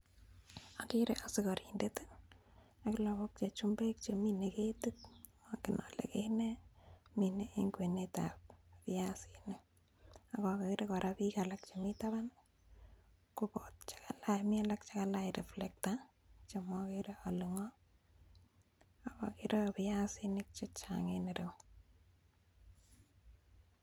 Agere ak lagok che chumbekmine ketit mongen ole ket nee. Mine en kwenetab biasinik ak ogere kole biik chemi taban kobot , mi alak che kalach reflector chemokere ole ng'o. Ak ogere kora biasinik chechang en ireyu.